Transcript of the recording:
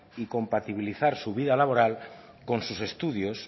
y compatibilizar su vida laboral con sus estudios